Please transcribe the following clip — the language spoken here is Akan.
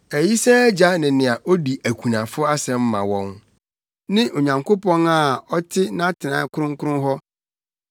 Ayisaa agya ne nea odi akunafo asɛm ma wɔn ne Onyankopɔn a ɔte nʼatenae kronkron hɔ.